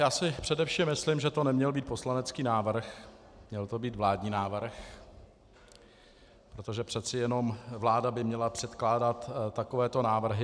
Já si především myslím, že to neměl být poslanecký návrh, měl to být vládní návrh, protože přece jenom vláda by měla předkládat takovéto návrhy.